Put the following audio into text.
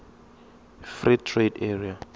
free trade area